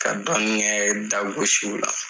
Ka dɔɔnin kɛ dagosiw la